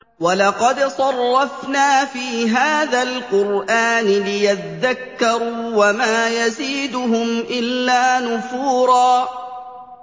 وَلَقَدْ صَرَّفْنَا فِي هَٰذَا الْقُرْآنِ لِيَذَّكَّرُوا وَمَا يَزِيدُهُمْ إِلَّا نُفُورًا